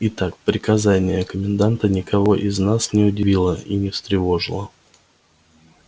итак приказание коменданта никого из нас не удивило и не встревожило